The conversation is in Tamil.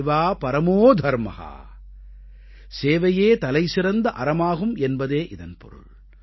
சேவா பரமோ தர்ம சேவையே தலைசிறந்த அறமாகும் என்பதே இதன் பொருள்